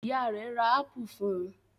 Ìyá rẹ̀ ra ápù fún un?